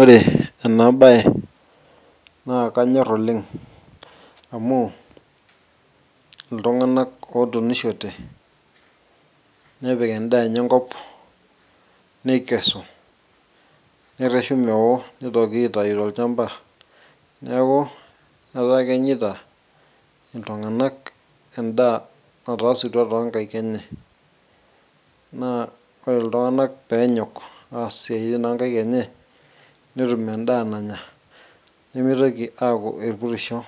ore ena baye naa kanyorr oleng iltung'anak otunishote nepik endaa enye enkop neikesu nerreshu mewo nitoki aitai tolchamba neeku etaa kenyaita iltung'anak endaa nataasutua tonkaik enye naa ore iltung'anak peenyok aas isiaitin onkaik enye netum endaa nanya nemitoki aaku irpurisho